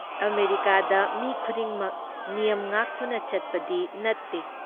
ꯑꯃꯦꯔꯤꯀꯥꯗ ꯃꯤ ꯈꯨꯗꯤꯡꯃꯛ ꯅꯤꯌꯝ ꯉꯥꯛꯇꯨꯅ ꯆꯠꯄꯗꯤ ꯅꯠꯇꯦ ꯫